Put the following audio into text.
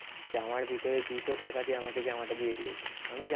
জামার ভিতরে দুশো টাকা দিয়ে আমাকে জামাটা দিয়ে দিয়েছে. আমি